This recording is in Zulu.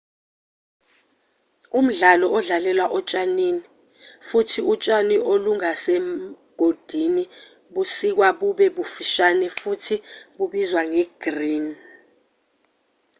umdlalo udlalelwa otshanini futhi utshani olungasemigodini busikwa bube bufishane futhi bubizwa nge-green